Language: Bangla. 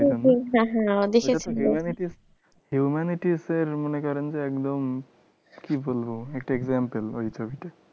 humanities এর মনে করেন যে একদম কি বলবো একটা example ওই ছবিটা